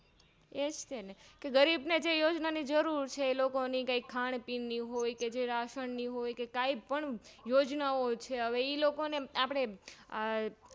એ જતેનેગરીબ ને જે યોજના ની જરૂર છે એલોકો ની ખાનપીન નીહોયકે રાસનીહોયકે કાઈપણ યોજનાઓછે ઈલોકોને આપણે